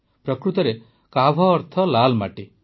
ପ୍ରକୃତରେ କାଭ ଅର୍ଥ ଲାଲ ମାଟି